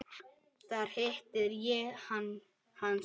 Þar hitti ég hann síðast.